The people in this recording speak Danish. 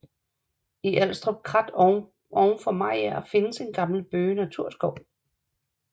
I Alstrup Krat oven for Mariager findes en gammel bøgenaturskov